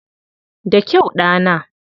Da kyau, ɗana!